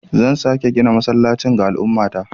Zan sake gina masallacin ga al'ummata.